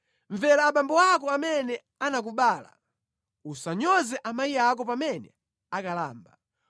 Mvera abambo ako amene anakubala, usanyoze amayi ako pamene akalamba.